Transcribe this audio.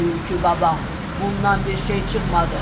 Tülkü baba, bundan bir şey çıxmadı.